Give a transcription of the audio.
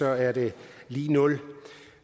er det lig nul